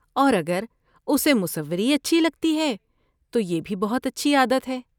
اور اگر اسے مصوری اچھی لگتی ہے تو یہ بھی بہت اچھی عادت ہے۔